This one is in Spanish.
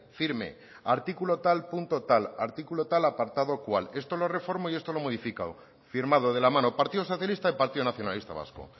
firme artículo tal punto tal artículo tal apartado cual esto lo reformo y esto lo he modificado firmado de la mano partido socialista y partido nacionalista vasco